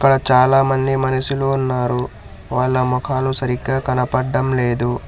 చాలామంది మనుషులు ఉన్నారు వాళ్ళ మోఖాలు సరిగ్గా కనపడ్డం లేదు.